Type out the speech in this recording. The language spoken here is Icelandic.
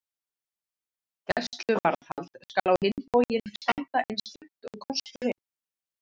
Gæsluvarðhald skal á hinn bóginn standa eins stutt og kostur er.